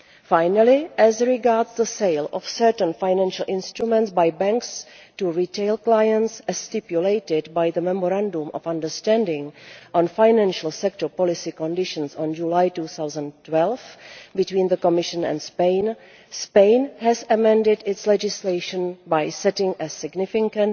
Finally, as regards the sale of certain financial instruments by banks to retail clients, as stipulated by the Memorandum of Understanding on financial sector policy conditions of July 2012 between the Commission and Spain, Spain has amended its legislation by setting a significantly